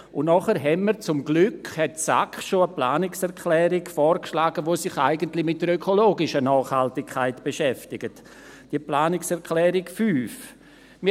Dann hat die SAK zum Glück bereits eine Planungserklärung vorgeschlagen, welche sich eigentlich mit der ökologischen Nachhaltigkeit beschäftigt, die Planungserklärung 5.